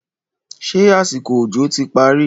ṣe àsìkò òjò ti parí?